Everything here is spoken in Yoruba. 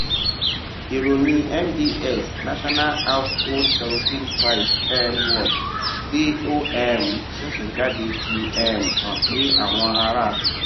ìròyìn nbs national household kerosene price um watch tí ó um ṣẹṣẹ jáde fi um hàn pé àwọn ará